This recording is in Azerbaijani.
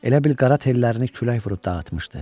Elə bil qara tellərini külək vurub dağıtmışdı.